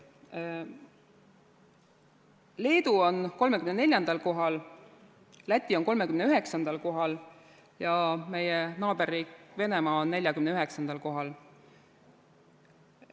Leedu on 34. kohal, Läti on 39. kohal ja meie naaberriik Venemaa on 49. kohal.